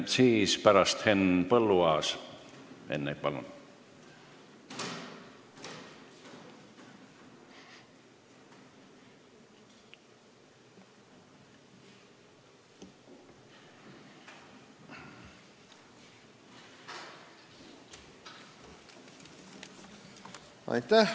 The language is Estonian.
Siis enne Henn Põlluaas, palun!